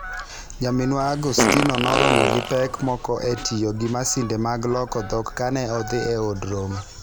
Nyaminwa Agustino noromo gi pek moko e tiyo gi masinde mag loko dhok kane odhi e Od Romo.